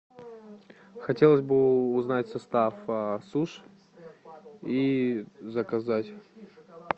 хотелось бы узнать состав суш и заказать